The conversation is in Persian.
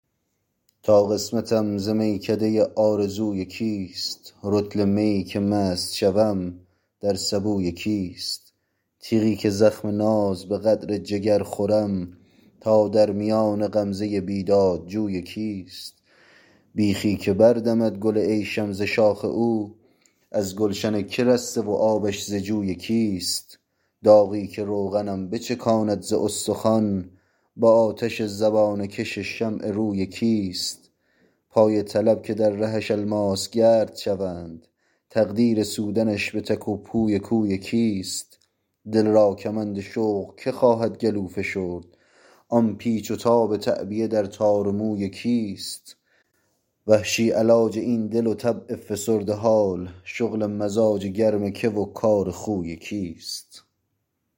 تا قسمتم ز میکده آرزوی کیست رطل میی که مست شوم در سبوی کیست تیغی که زخم ناز به قدر جگر خورم تا در میان غمزه بیداد جوی کیست بیخی که بردمد گل عیشم ز شاخ او از گلشن که رسته و آبش ز جوی کیست داغی که روغنم بچکاند ز استخوان با آتش زبانه کش شمع روی کیست پای طلب که در رهش الماس گرد شد تقدیر سودنش به تک و پوی کوی کیست دل را کمند شوق که خواهد گلو فشرد آن پیچ و تاب تعبیه در تار موی کیست وحشی علاج این دل و طبع فسرده حال شغل مزاج گرم که و کار خوی کیست